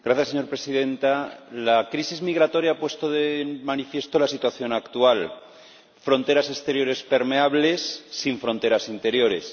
Señora Presidenta, la crisis migratoria ha puesto de manifiesto la situación actual fronteras exteriores permeables sin fronteras interiores.